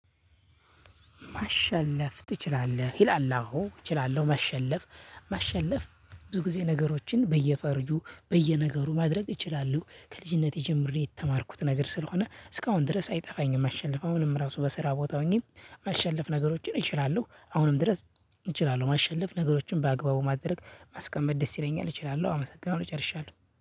ማሸነፍ ትችላለህ ይላል አዎ እችላለሁ ማሸለፍ ማሸለፍ ብዙ ጊዜ ነገሮችን በየፈርጁ በየነገሩ ማድረግ እችላለሁ ከልጅነቴ ጀምሬ የተማርኩት ነገር ስለሆነ እስካሁን ድረስ አይጠፋኝም። ማሸነፍ አሁንም ራሱ በስራ ቦታ ሆኜም ማሸለፍ ነገሮችን እችላለሁ። አሁንም ድረስ እችላለሁ ማሸለፍ ነገሮችን በአግባቡ ማድረግ ማስቀመጥ ደስ ይለኛል እችላለሁ አመሰግናለሁ ጨርሻለሁ